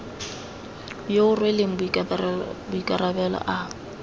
yo o rweleng maikarabelo a